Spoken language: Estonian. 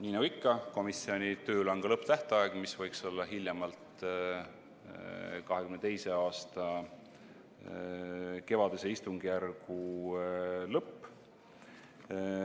Nii nagu ikka, komisjoni tööl on ka lõpptähtaeg, mis võiks olla hiljemalt 2022. aasta kevadise istungjärgu lõpp.